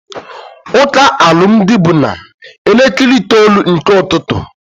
Ụka alụmdi bụ na elekere itoolu nke ụtụtụ